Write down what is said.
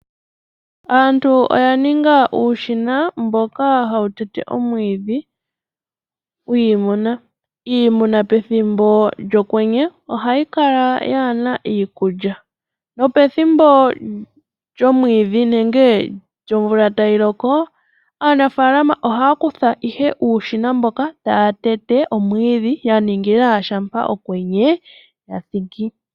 Aantu oyaninga uushina mboka hawutete omwiidhi gwiimuna. Iimuna pethimbo lyokwenye ohayi kala yaana iikulya nopethimbo lomwiidhi nenge lyomvula tayiloko aanafaalama ohaya kutha ihe uushina mboka, taya tete omwiidhi yaningila shampa okwenye kwathiki.